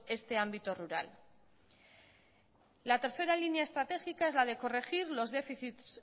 este ámbito rural la tercera línea estratégica es la de corregir los déficit